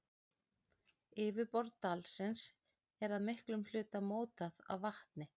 Yfirborð dalsins er að miklum hluta mótað af vatni.